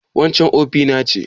Waccan ofina ce?